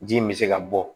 Ji in bɛ se ka bɔ